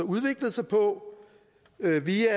udviklede sig på via